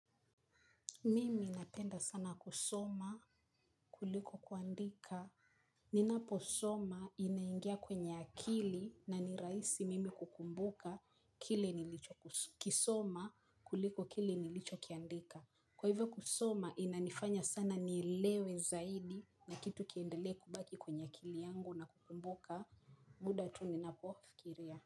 Mimi napenda sana kusoma kuliko kuandika. Ninaposoma inaingia kwenye akili na ni rahisi mimi kukumbuka kile nilichokisoma kuliko kile nilichokiandika. Kwa hivyo kusoma inanifanya sana nielewe zaidi na kitu kiendelee kubaki kwenye akili yangu ina kukumbuka. Muda tu ninapofikiria.